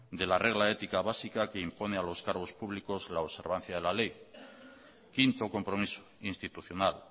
de la regla ética básica que impone a los cargos públicos la observancia de la ley quinto compromiso institucional